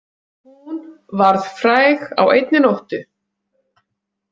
Hún varð fræg á einni nóttu.